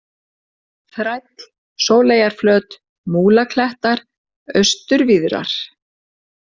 Þræll, Sóleyjarflöt, Múlaklettar, Austurvíðrar